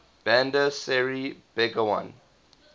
bandar seri begawan